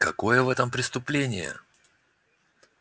какое в этом преступление